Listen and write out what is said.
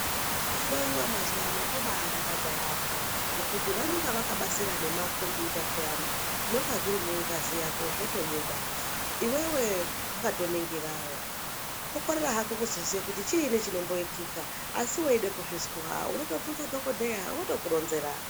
Kuhloyiwa mazuwano kobadakadza yaambo ngekuti vanenge vakabasira nemakombiyuta peyani zvinenge zviri mungazi yako zvotobuda Iwewe wakatoningirawo. Kukorera hako kuzoziya kuti chiini chirikuitika asi weida kuzvizwa unotobvunze dhokodheya votokuronzera.